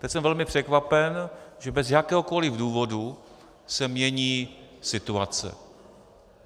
Teď jsem velmi překvapen, že bez jakéhokoli důvodu se mění situace.